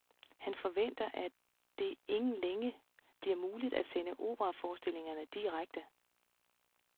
Han forventer, at det ingen længe bliver muligt at sende operaforestillingerne direkte.